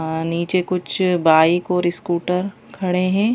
नीचे कुछ बाइक और स्कूटर खड़े हैं।